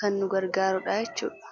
kan nugargaaru dhaachuudha